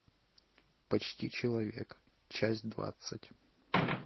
почти человек часть двадцать